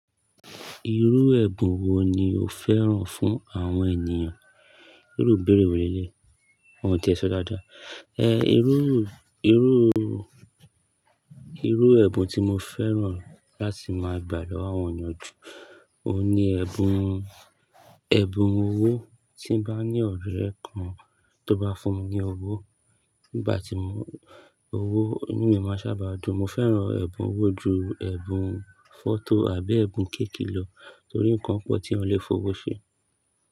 Irú ẹ̀bùn wo ni o fẹ́ràn fún àwọn ènìyàn? Irú ìbéèrè wòle lé, wọn ò ti ẹ sọ dáadáa. Eh irú, irú, irú ẹ̀bùn tí mo fẹ́ràn láti máa gbà lọ àwọn ènìyàn ju, òun ni ẹ̀bùn, ẹ̀bùn owó. Tí n bá ní ọ̀rẹ́ kan tó bá fún mi ní owó, nígbà tí mo, owó nínú mi máa sábàa dùn. Mo fẹ́ràn ẹ̀bùn owó ju ẹ̀bùn fọ́tò àbí ẹ̀bùn kéékì lọ torí nǹkan pọ̀ tí a lè fowó ṣe.